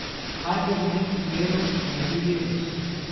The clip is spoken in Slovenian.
Kaj bi v tem primeru naredil Jezus?